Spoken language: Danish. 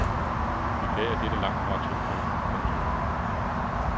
I dag er dette langtfra tilfældet. punktum